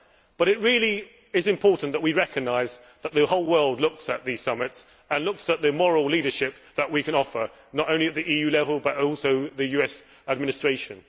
But it really is important that we recognise that the whole world looks at these summits and looks at the moral leadership that we can offer, not only at EU level but also the US Administration.